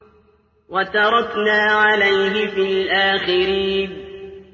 وَتَرَكْنَا عَلَيْهِ فِي الْآخِرِينَ